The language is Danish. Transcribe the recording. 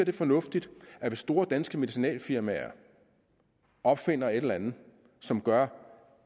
er fornuftigt hvis store danske medicinalfirmaer opfinder et eller andet som gør